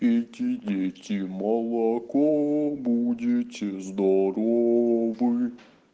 пейте дети молоко будете здоровы